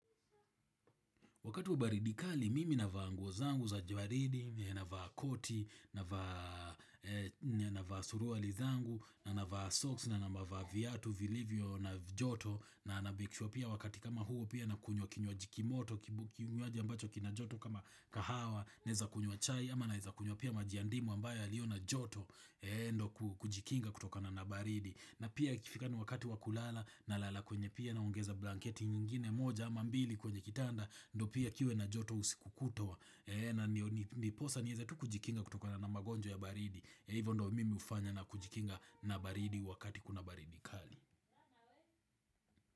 Wakati wa baridi kali mimi navaa nguo zangu za jua ridi, navaa koti, navaa navaa suruali zangu, na navaa soksi, na navaa viatu, vilivyo, na joto, na nameke sure pia wakati kama huu pia na kunywa kinywaji kimoto, kibu kinywaji ambacho kina joto kama kahawa, naeza kunywa chai, ama naeza kunywa pia maji ya ndimu ambayo yaliyo na joto, endo kujikinga kutoka na na baridi. Na pia ikifika ni wakati wa kulala nalala kwenye pia naongeza blanketi nyingine moja ama mbili kwenye kitanda ndio pia kiwe na joto usiku kutwa na ndiposa nieze tu kujikinga kutoka na magonjwa ya baridi ya hivo ndo mimi ufanya na kujikinga na baridi wakati kuna baridi kali.